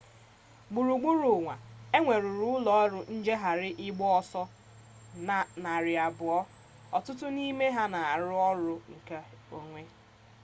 gburugburu ụwa e nweruru ụlọọrụ njegharị ịgba ọsọ narị abụọ ọtụtụ n'ime ha na-arụ ọrụ nke onwe